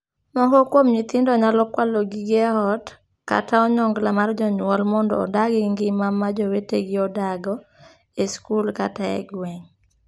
Moko kuom nyithindo nyalo kwalo gige ot kata onyongla mar jonyuol mondo odag ngima ma jowetegi odago e skul kata e gweng.